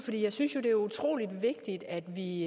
jeg synes jo det er utrolig vigtigt at vi